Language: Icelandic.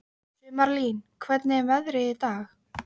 Sumarlín, hvernig er veðrið í dag?